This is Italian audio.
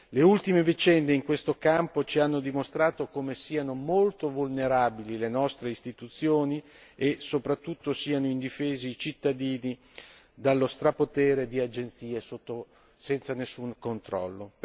Le ultime vicende in questo campo ci hanno dimostrato come siano molto vulnerabili le nostre istituzioni e soprattutto siano indifesi i cittadini dallo strapotere di agenzie senza nessun controllo.